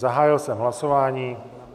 Zahájil jsem hlasování.